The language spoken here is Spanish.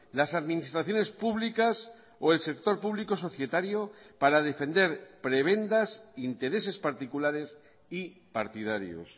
las administraciones públicas o el sector público societario para defender prebendas intereses particulares y partidarios